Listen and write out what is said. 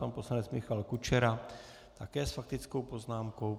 Pan poslanec Michal Kučera také s faktickou poznámkou.